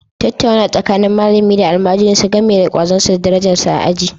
Tattaunawa tsakanin malami da almajirinsa game da kwazonsa da darajarsa a aji